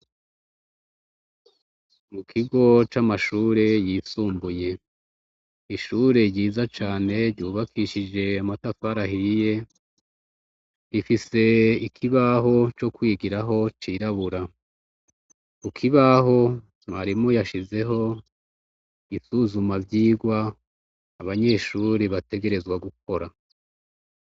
Ikigo c'amashure yisumbuye, ishure ryiza cane ryubakishije amatafari ahiye, rifise ikibaho co kwigiraho cirabura. Ku kibaho mwarimu yashizeho isuzumavyigwa, abanyeshure bategerezwa gukora.